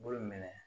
Bolo minɛ